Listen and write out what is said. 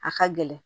A ka gɛlɛn